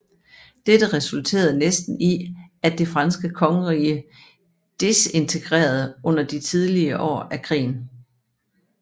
Dette resulterede næsten i at det franske kongerige disintegrerede under de tidlige år af krigen